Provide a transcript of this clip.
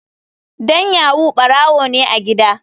Dan yahoo barawo ne a gida.